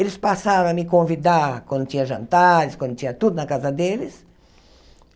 Eles passaram a me convidar quando tinha jantares, quando tinha tudo na casa deles.